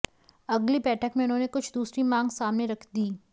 अगली बैठक में उन्होंने कुछ दूसरी मांग सामने रख दीं